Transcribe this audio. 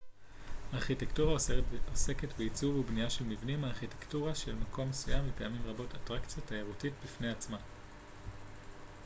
ארכיטקטורה עוסקת בעיצוב ובנייה של מבנים הארכיטקטורה של מקום מסוים היא פעמים רבות אטרקציה תיירותית בפני עצמה